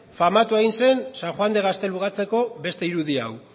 famatua egin zen san juan de gaztelugatxeko beste irudi hau